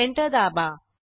enter दाबा